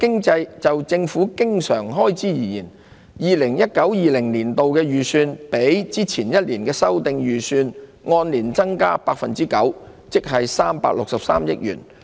就政府經常開支而言 ，2019-2020 年度的預算較前一年的修訂預算，按年增加 9%， 即363億元。